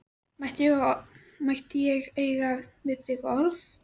Mætti ég eiga við þig orð?